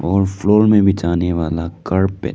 और फ्लोर में बिछाने वाला कारपेट --